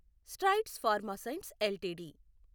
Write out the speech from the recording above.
strides Pharma Science LTD